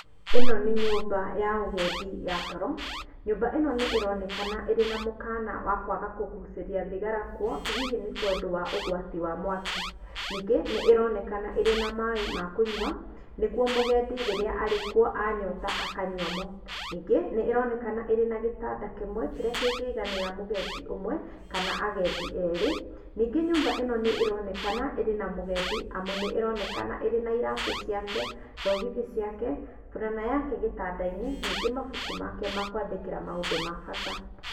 Ĩno nĩ nyũmba ya ũgendi ya toro. Nyũmba ĩno nĩ ĩronekana ĩrĩ na mũkana wakaga kũgucĩria thigara kuo, hihi nĩ tondũ wa ũgwati wa mwaki. Ningĩ nĩ ĩronekana ĩrĩ na maĩ ma kũnyua, nĩguo mũgendi rĩrĩa arĩkuo anyota akanyua mo. Nyingĩ, nĩ ĩronekana ĩnagĩtanda kĩmwe kĩrĩa kĩngĩiganĩra mũgendi ũmwe kana agendi erĩ. Ningĩ nyũmba ĩno nĩ ĩronekana ĩrĩ na mũgendi amu nĩ ĩronekana ĩrĩ na iratũ ciake, thogithi ciake, burana yake gĩtanda-inĩ, ningĩ mabuku make ma kwandĩkĩra maũndũ ma bata.